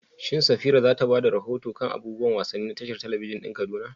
Shin Safira za ta ba da rahoto kan abubuwan wasanni na tashar talabijin ɗin Kaduna?